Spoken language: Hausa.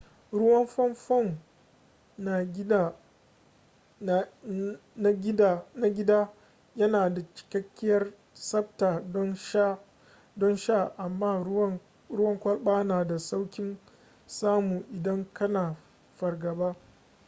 ruwan famfon na gida yana da cikakkiyar tsabta don sha amma ruwan kwalba na da saukin samu idan kana fargaba